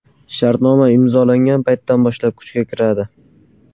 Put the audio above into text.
Shartnoma imzolangan paytdan boshlab kuchga kiradi.